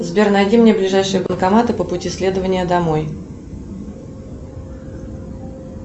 сбер найди мне ближайшие банкоматы по пути следования домой